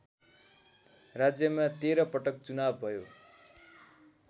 राज्यमा १३ पटक चुनाव भयो